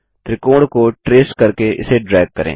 त्रिकोण को ट्रेस करके इसे ड्रैग करें